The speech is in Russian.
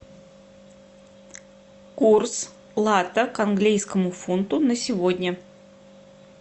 курс лата к английскому фунту на сегодня